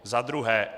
Za druhé.